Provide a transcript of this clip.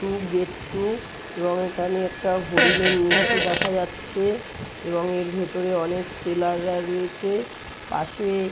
Two gate two এবং এখানে একটা হরিণের মূর্তি দেখা যাচ্ছে এবং এর ভেতরে অনেক সেলার -রা রয়েছে। পাশে--